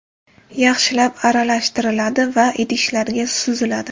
Yaxshilab aralashtiriladi va idishlarga suziladi.